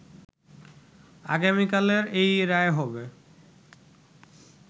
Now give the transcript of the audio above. আগামিকালের এই রায় হবে